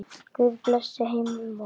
Guð blessi heimvon hans.